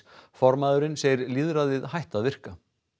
formaðurinn segir lýðræðið hætt að virka